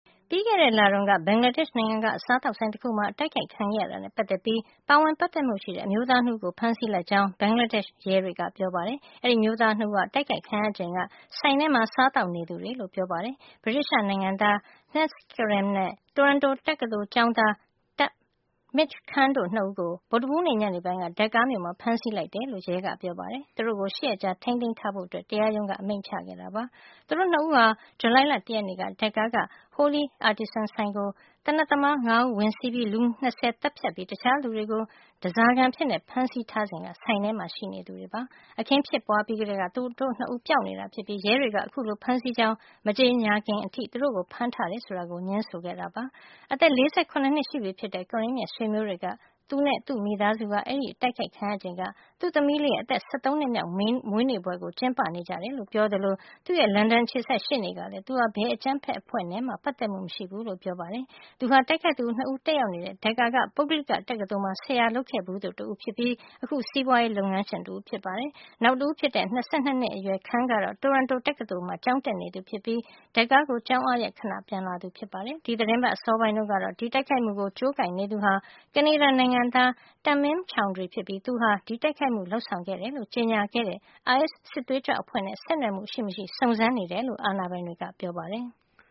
ပြီးခဲ့တဲ့ လတုန်းက ဘင်္ဂလားဒေ့ရှ်နိုင်ငံက စားသောက်ဆိုင်တခုမှာ အတိုက်ခိုက်ခံခဲ့ရတာနဲ့ ပါတ်သက်ပြီး ပါဝင်ပါတ်သက်မှု ရှိတဲ့ အမျိုးသား ၂ ဦးကို ဖမ်းဆီးလိုက်ကြောင်း ဘင်္ဂလားဒေ့ရှ်ရဲတွေကပြောပါတယ်။ အဲဒီ အမျိုးသား ၂ ဦးဟာ အတိုက်ခိုက်ခံရချိန်က ဆိုင်ထဲမှာ စားသောက်နေသူတွေလို့ ပြောပါတယ်။ ဗြိတိသျှနိုင်ငံသား Hasnat Karim နဲ့ Toronto တက္ကသိုလ် ကျောင်းသား Tahmid Khan တို့ ၂ ဦးကို ဗုဒ္ဓဟူးနေ့ ညနေပိုင်းက Dhaka မြို့မှာ ဖမ်းဆီးလိုက်တယ်လို့ ရဲက ပြောပါတယ်။ သူတို့ကို ၈ရက်ကြာ ထိန်းသိမ်းထားဖို့ တရားရုံးက အမိန့်ချခဲ့ပါတယ်။ သူတို့ ၂ ဦးဟာ ဇူလိုင်လ ၁ ရက်နေ့က Dhaka က Holey Artisan ဆိုင်ကို သေနတ်သမား ၅ ဦး ဝင်စီးပြီး လူ ၂၀ ကို သတ်ဖြတ်ပြီး တခြားလူတွေကို ဓါးစာခံအဖြစ် ဖမ်းဆီးထားစဉ်က ဆိုင်ထဲမှာ ရှိနေတာပါ။ အခင်းဖြစ်ပွါးပြီးကတည်းက သူတို့ ၂ ဦးပျောက်နေတာ ဖြစ်ပြီးရဲတွေက အခုလို ဖမ်းဆီးကြောင်း မကြေငြာခင်အထိ သူတို့ကို ဖမ်းထားတယ် ဆိုတာကို ငြင်းဆိုခဲ့တာပါ။ အသက် ၄၇ နှစ် ရှိပြီဖြစ်တဲ့ Karim ရဲ့ ဆွေမျိုးတွေကတော့ သူနဲ့ သူ့မိသားစုဟာ အဲဒီ့အတိုက်ခိုက်ခံရချိန်က သူ့သမီးလေးရဲ့ အသက် ၁၃ နှစ်မြောက်မွေးနေ့ပွဲကို ကျင်းပနေကြတယ်လို့ ပြောသလို သူ့ရဲ့ လန်ဒန်အခြေစိုက် ရှေ့နေကလည်း သူဟာ ဘယ်အကြမ်းဖက် အဖွဲ့နဲ့မှ ပါတ်သက်မှု မရှိဘူးလို့ ပြောပါတယ်။ သူဟာ တိုက်ခိုက်သူ ၂ ဦးတက်ရောက်နေတဲ့ Dhaka က ပုဂ္ဂလိက တက္ကသိုလ်မှာ ဆရာလုပ်ခဲ့ဘူးသူ ဖြစ်ပြီး အခု စီးပွါးရေး လုပ်ငန်းရှင်တဦးဖြစ်ပါတယ်။ နောက်တဦးဖြစ်တဲ့ အသက် ၂၂ နှစ်အရွယ် Khan ကတော့ Toronto တက္ကသိုလ်မှာ ကျောင်းတက်နေသူဖြစ်ပြီး Dhaka ကို ကျောင်းအားရက် ခဏပြန်လာသူ ဖြစ်ပါတယ်။ ဒီသီတင်းပါတ် အစောပိုင်းတုန်းကတော့ ဒီ တိုက်ခိုက်မှုကို ကြိုးကိုင်နေသူဟာ ကနေဒါ နိုင်ငံသား Tamim Chowdhury ဖြစ်ပြီး သူဟာဒီတိုက်ခိုက်မှုကို လုပ်ဆောင်ခဲ့တယ်လို့ ကြေညာခဲ့တဲ့ အိုင်အက်စ် စစ်သွေးကြွ အဖွဲ့နဲ့ ဆက်နွယ်မှု ရှိမရှိ စုံစမ်းနေကြောင်း အာဏာပိုင်တွေက ပြောပါတယ်။